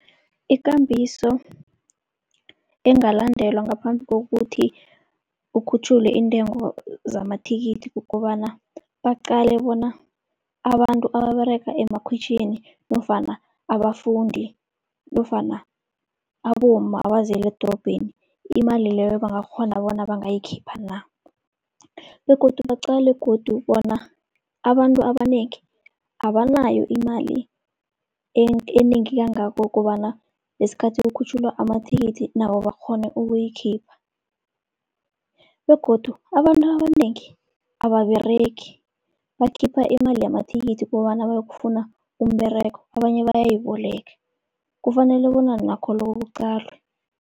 Ikambiso engalandelwa ngaphambi kokuthi kukhutjhulwe iintengo zamathikithi, kukobana baqale bona abantu ababerega emakhwitjhini nofana abafundi nofana abomma abaziyela edorobheni, imali leyo bangakghona bona bangayikhipha na. Begodu baqale godu bona abantu abanengi abanayo imali enengi kangako kobana lesikhathi kukhutjhulwa amathikithi nabo bakghone ukuyikhipha. Begodu abantu abanengi ababeregi bakhipha imali yamathikithi kobana bayokufuna umberego, abanye bayayiboleke kufanele bona nakho lokho kuqalwe.